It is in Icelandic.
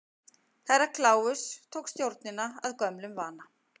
Herra Kláus tók stjórnina að gömlum vana.